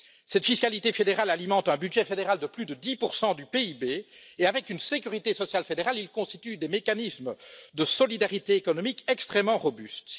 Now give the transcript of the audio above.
Cette fiscalité fédérale alimente un budget fédéral de plus de 10 du PIB qui, avec une sécurité sociale fédérale, constituent des mécanismes de solidarité économique extrêmement robustes.